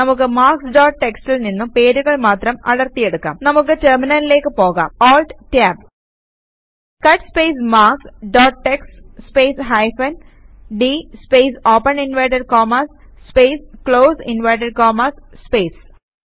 നമുക്ക് marks dot txtൽ നിന്നും പേരുകൾ മാത്രം അടർത്തി എടുക്കാം നമുക്ക് ടെർമിനലിലേക്ക് പോകാം ALT Tab cut space marks dot TXT space hyphen d space open inverted commas space close inverted commas space